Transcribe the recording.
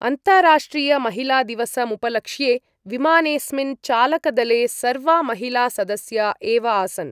अन्ताराष्ट्रियमहिलादिवसमुपलक्ष्ये विमानेस्मिन् चालकदले सर्वा महिला सदस्या एव आसन् ।